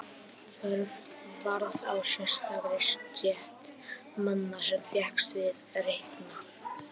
Þörf varð á sérstakri stétt manna sem fékkst við að reikna.